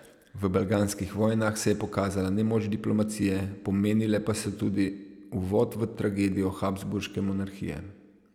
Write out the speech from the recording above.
V balkanskih vojnah se je pokazala nemoč diplomacije, pomenile pa so tudi uvod v tragedijo habsburške monarhije.